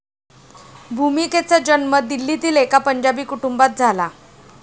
भूमिकेचा जन्म दिल्लीतील एका पंजाबी कुटुंबात झाला.